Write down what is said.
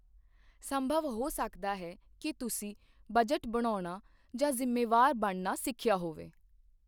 ਸੰਭਵ ਹੋ ਸਕਦਾ ਹੈ ਕਿ ਤੁਸੀਂ ਬਜਟ ਬਣਾਉਣਾ ਜਾਂ ਜ਼ਿੰਮੇਵਾਰ ਬਣਨਾ ਸਿੱਖਿਆ ਹੋਵੇ।